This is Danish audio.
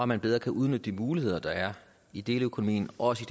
man bedre kan udnytte de muligheder der er i deleøkonomien også